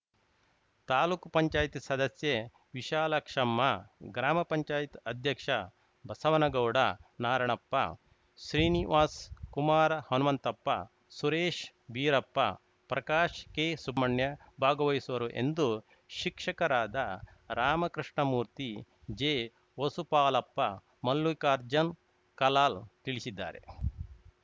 ತಾಲೂಕು ಪಂಚಾಯತಿ ಸದಸ್ಯೆ ವಿಶಾಲಾಕ್ಷಮ್ಮ ಗ್ರಾಮ ಪಂಚಾಯತ್ ಅಧ್ಯಕ್ಷ ಬಸವನಗೌಡ ನಾರಾಯಣಪ್ಪ ಶ್ರೀನಿವಾಸ್‌ ಕುಮಾರ ಹನುಮಂತಪ್ಪ ಸುರೇಶ್‌ ಬೀರಪ್ಪ ಪ್ರಕಾಶ್‌ಕೆಹ್ಮಣ್ಯ ಭಾಗವಹಿಸುವರು ಎಂದು ಶಿಕ್ಷಕರಾದ ರಾಮಕೃಷ್ಣಮೂರ್ತಿ ಜೆವಸುಪಾಲಪ್ಪ ಮಲ್ಲಿಕಾರ್ಜುನ್‌ ಕಲಾಲ್‌ ತಿಳಿಸಿದ್ದಾರೆ